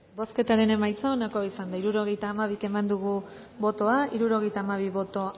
bozketaren emaitza onako izan da hirurogeita hamabi eman dugu bozka hirurogeita hamabi boto